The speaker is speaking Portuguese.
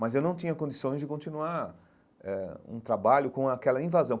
Mas eu não tinha condições de continuar eh um trabalho com aquela invasão.